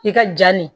I ka ja nin